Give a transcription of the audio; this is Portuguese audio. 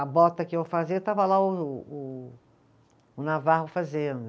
A bota que eu fazia, estava lá o o o Navarro fazendo.